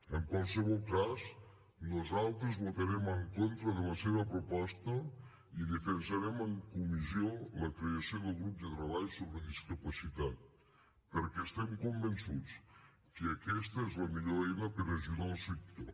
en qualsevol cas nosaltres votarem en contra de la seva proposta i defensarem en comissió la creació del grup de treball sobre discapacitat perquè estem convençuts que aquesta és la millor eina per ajudar el sector